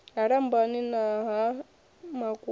ha lambani na ha makuya